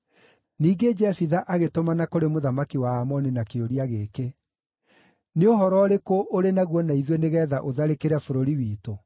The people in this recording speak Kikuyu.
Ningĩ Jefitha agĩtũmana kũrĩ mũthamaki wa Aamoni na kĩũria gĩkĩ: “Nĩ ũhoro ũrĩkũ ũrĩ naguo na ithuĩ nĩgeetha ũtharĩkĩre bũrũri witũ?”